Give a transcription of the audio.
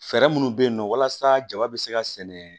Fɛɛrɛ minnu bɛ yen nɔ walasa jaba bɛ se ka sɛnɛ